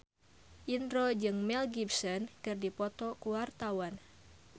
Indro jeung Mel Gibson keur dipoto ku wartawan